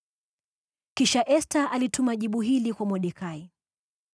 Kisha Esta alituma jibu hili kwa Mordekai: